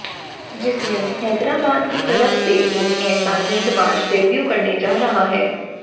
जिसमे हैदराबाद की तरफ से एक ऐसा गेंदबाज डेब्यू करने जा रहा है